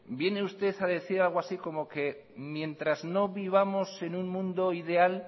viene usted a decir algo así como que mientras no vivamos en un mundo ideal